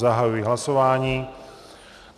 Zahajuji hlasování.